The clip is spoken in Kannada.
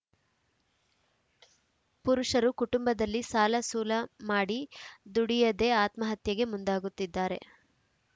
ಪುರುಷರು ಕುಟುಂಬದಲ್ಲಿ ಸಾಲ ಸೂಲ ಮಾಡಿ ದುಡಿಯದೇ ಆತ್ಮಹತ್ಯೆಗೆ ಮುಂದಾಗುತ್ತಿದ್ದಾರೆ